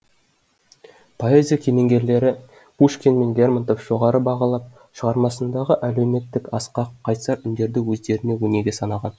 поэзия кемеңгерлері пушкин мен лерментов жоғары бағалап шығармасындағы әлеуметтік асқақ қайсар үндерді өздеріне өнеге санаған